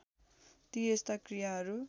ती यस्ता क्रियाहरू